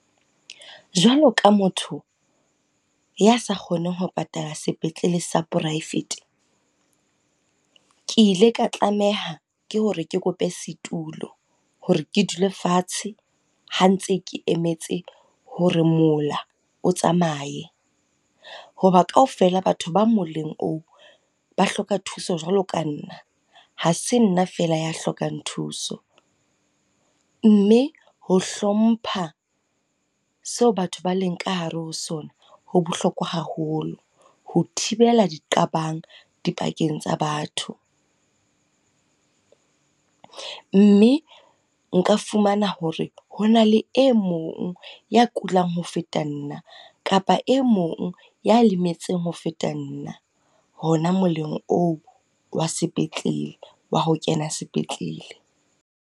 Jwalo ka motho ya sa kgoneng ho patalla sepetlele sa poraefete. Ke ile ka tlameha ke hore ke kope setulo hore ke dule fatshe ha ntse ke emetse hore mola o tsamaye. Ho ba kaofela batho ba moleng oo, ba hloka thuso jwalo ka nna, ha se nna fela ya hlokang thuso. Mme ho hlompha seo batho ba leng ka hare ho sona ho bohlokwa haholo, ho thibela di qabang di pakeng tsa batho. Mme nka fumana hore hona le e mong ya kulang ho feta nna, kapa e mong ya lemetseng ho feta nna hona moleng oo wa sepetlele, wa ho kena sepetlele.